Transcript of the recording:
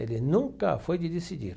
Ele nunca foi de decidir.